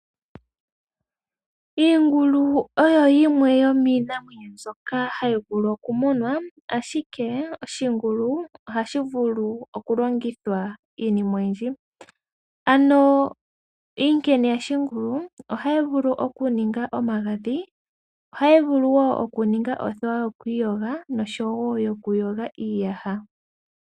Iingulu oyo yimwe yomiinamwenyo mbyoka hayi vulu oku munwa, ashike oshingulu ohashi vulu oku longithwa iinima oyindji. Ano iinkene yashingulu ohayi vulu okuninga omagadhi, othewa yokwiiyoga noshowo yokuyoga iiyaha.